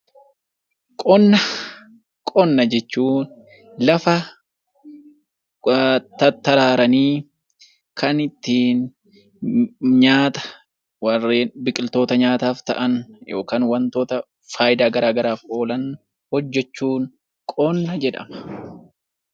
Qonna jechuun lafa kan ittiin nyaata yookiin biqiloota nyaataaf ta'an fayidaa garaagaraaf oolan oomishuun qonna jedhama.